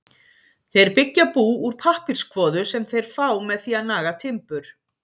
Þeir byggja bú úr pappírskvoðu sem þeir fá með því að naga timbur.